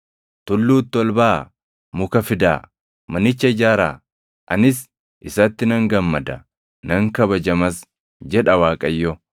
Tulluutti ol baʼaa; muka fidaa; manicha ijaaraa; anis isatti nan gammada; nan kabajamas” jedha Waaqayyo.